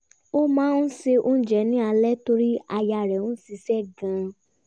ó máa n se oúnjẹ ni alẹ́ torí aya rẹ̀ ń ṣiṣẹ́ gan-an